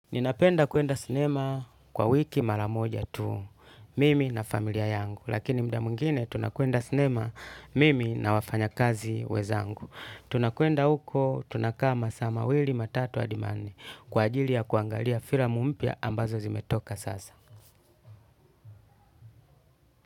Ninapenda kuenda sinema kwa wiki mara moja tu, mimi na familia yangu, lakini mda mwingine tunakuenda sinema mimi na wafanyakazi wenzangu. Tunakuenda huko, tunakaa masaa mawili matatu hadi manne, kwa ajili ya kuangalia filamu mpya ambazo zimetoka sasa.